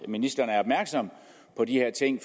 ministeren er opmærksom på de her ting